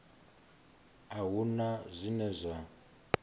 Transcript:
a hu na zwine zwa